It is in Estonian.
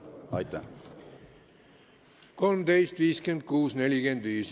Kell on 13.56.45.